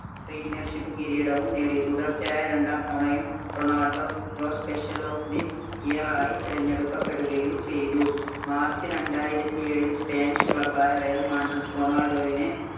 Premiership കിരീടവും നേടി. തുടർച്ചയായ രണ്ടാം തവണയും Ronaldo FIFPro Special of the Year ആയി തിരഞ്ഞെടുക്കപ്പെടുകയും ചെയ്തു. March രണ്ടായിരത്തി എഴില്‍ Spanish club ആയ Real Madrid റൊണാൾഡോവിനെ